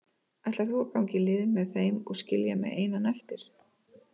Ætlar þú að ganga í lið með þeim og skilja mig einan eftir?